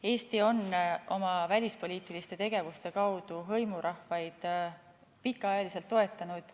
Eesti on oma välispoliitiliste tegevuste kaudu hõimurahvaid pikka aega toetanud.